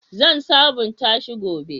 Zan sabunta shi gobe.